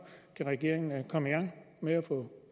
regeringen kan komme i gang med at få